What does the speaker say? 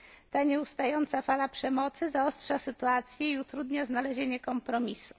Ta nieustająca fala przemocy zaostrza sytuację i utrudnia znalezienie kompromisu.